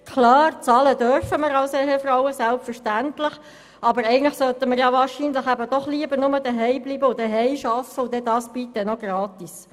Klar, bezahlen dürfen wir als Ehefrauen selbstverständlich, aber eigentlich sollten wir doch lieber nur zuhause bleiben und dort arbeiten, und das dann bitte noch gratis.